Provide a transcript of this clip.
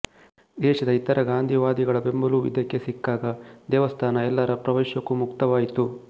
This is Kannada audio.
ದೇಶದ ಇತರ ಗಾಂಧಿವಾದಿಗಳ ಬೆಂಬಲವೂ ಇದಕ್ಕೆ ಸಿಕ್ಕಾಗ ದೇವಸ್ಥಾನ ಎಲ್ಲರ ಪ್ರವೇಶಕ್ಕೂ ಮುಕ್ತವಾಯಿತು